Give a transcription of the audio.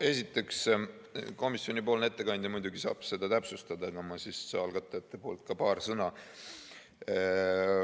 Esiteks, komisjoni ettekandja saab seda muidugi täpsustada, aga ma ütlen algatajate poolt ka paar sõna.